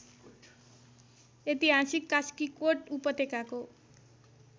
ऐतिहासिक कास्कीकोट उपत्यकाको